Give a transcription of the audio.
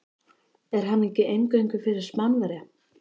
Er hann ekki eingöngu fyrir Spánverja.